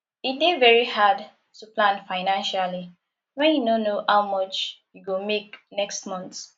e dey very hard to plan financially when you no know how much you go make next month